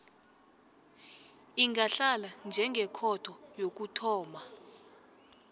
ingahlala njengekhotho yokuthoma